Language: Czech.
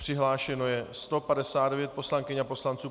Přihlášeno je 159 poslankyň a poslanců.